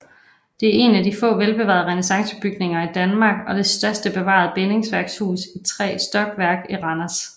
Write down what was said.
Det er en af de få velbevarede renæssancebygninger i Danmark og det største bevarede bindingsværkshus i tre stokværk i Randers